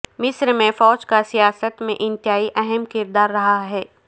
مصر میں فوج کا سیاست میں انتہائی اہم کردار رہا ہے